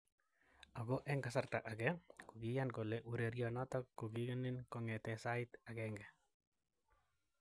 Ako eng kasarta ake, kokiyannkole ureriet noto kokinenin kongete sait 1.